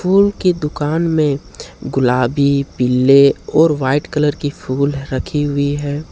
फूल की दुकान में गुलाबी पीले और व्हाइट कलर की फुल रखी हुई है।